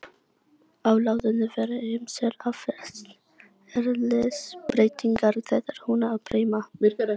Á læðunni verða ýmsar atferlisbreytingar þegar hún er breima.